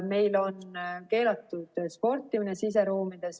Meil on keelatud sportimine siseruumides.